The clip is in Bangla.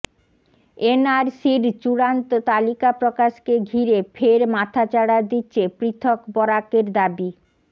এনআরসির চূড়ান্ত তালিকা প্রকাশকে ঘিরে ফের মাথাচাড়া দিচ্ছে পৃথক বরাকের দাবি